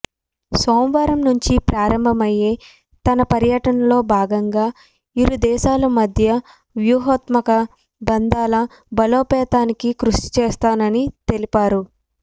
సోమవారం నుంచి ప్రారంభమయ్యే తన పర్యటనలో భాగంగా ఇరుదేశాల మధ్య వ్యూహాత్మక బంధాల బలోపేతానికి కృషి చేస్తానని తెలిపారు